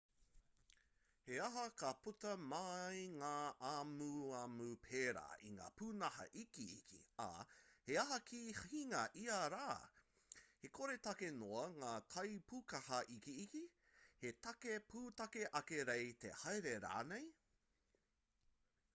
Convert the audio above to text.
he aha ka puta mai ngā amuamu pērā i ngā pūnaha ikiiki ā he aha ka hinga i ia rā he koretake noa ngā kaipūkaha ikiiki he take pūtake ake kei te haere rānei